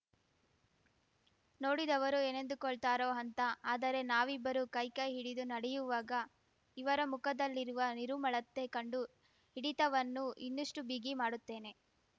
ನೋಡಿದವರು ಏನೆಂದುಕೊಳ್ತಾರೋ ಅಂತ ಆದರೆ ನಾವಿಬ್ಬರೂ ಕೈ ಕೈ ಹಿಡಿದು ನಡೆಯುವಾಗ ಇವರ ಮುಖದಲ್ಲಿರುವ ನಿರುಮ್ಮಳತೆ ಕಂಡು ಹಿಡಿತವನ್ನು ಇನ್ನಷ್ಟುಬಿಗಿ ಮಾಡುತ್ತೇನೆ